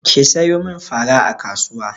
Ki sayo min fara a kasuwa!